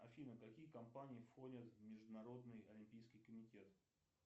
афина какие компании входят в международный олимпийский комитет